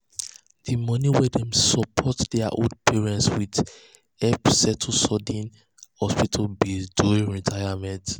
the money wey dem support their old parents with help settle sudden hospital bills during retirement.